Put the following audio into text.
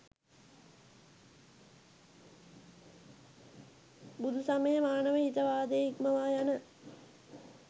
බුදුසමය මානවහිතවාදය ඉක්මවා යන